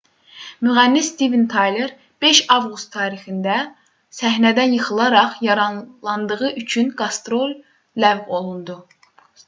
müğənni stiven tayler 5 avqust tarixində səhnədən yıxılaraq yaralandığı üçün qastrol ləğv olundu